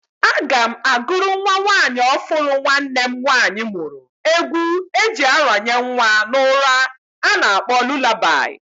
Aga m agụrụ nwa nwanyị ọfụrụ nwanne m nwanyị mmuru egwu eji aranye nwa n'ura a na-akpọ lulabai.